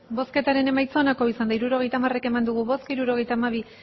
hirurogeita hamar eman dugu bozka hirurogeita hamabi